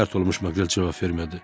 Pərt olmuş Maqrel cavab vermədi.